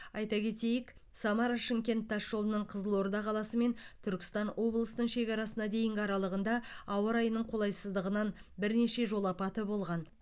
айта кетейік самара шымкент тасжолының қызылорда қаласы мен түркістан облысының шекарасына дейінгі аралығында ауа райының қолайсыздығынан бірнеше жол апаты болған